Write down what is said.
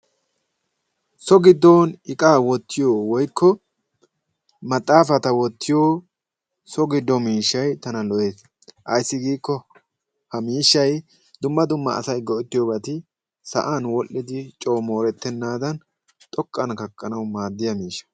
So giddon iqaa wottiyo woykko maxaafata wottiyo so giddo miishshayi tana lo"ees. Ayssi giikko ha miishshayi dumma dumma asayi go"ettiyobati sa"an wodhdhidi coo moorettennaadan xoqqan kaqqanawu maadiya miishsha